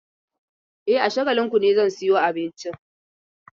E, a Shagalinku ne zan sayo abincin.